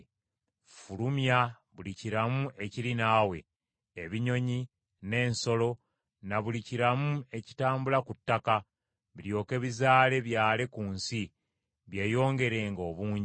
Fulumya buli kiramu ekiri naawe: ebinyonyi, n’ensolo, na buli kiramu ekitambula ku ttaka, biryoke bizaale byale ku nsi, byeyongerenga obungi.”